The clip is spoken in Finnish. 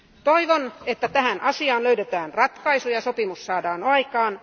Toivon, että tähän asiaan löydetään ratkaisu ja sopimus saadaan aikaan.